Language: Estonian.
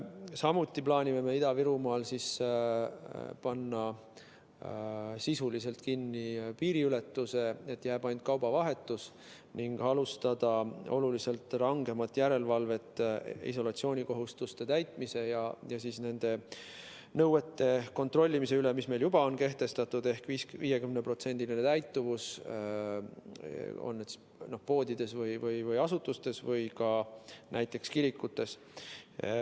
Samuti plaanime Ida-Virumaal panna sisuliselt kinni piiriületuse, jääb ainult kaubavahetus, ning alustada oluliselt rangemat järelevalvet isolatsioonikohustuste täitmise ja nende nõuete kontrollimise üle, mis meil juba on kehtestatud, ehk 50%‑line täituvus poodides, asutustes või ka näiteks kirikutes.